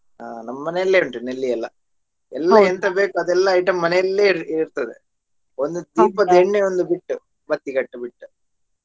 ಹ ನಮ್ಮನೇಲೇ ಉಂಟು ನೆಲ್ಲಿ ಎಲ್ಲ ಎಲ್ಲಾ ಎಂತ ಬೇಕು ಅದೆಲ್ಲ item ಮನೆಯಲ್ಲೇ ಇರ್ತದೆ ಒಂದು ದೀಪದ ಎಣ್ಣೆಯೊಂದು ಬಿಟ್ಟು ಬತ್ತಿಗಟ್ಟು ಬಿಟ್ಟು.